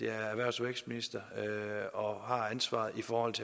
er erhvervs og vækstminister og har ansvaret for